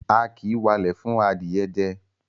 A kì í walẹ̀ fún adìẹ jẹ.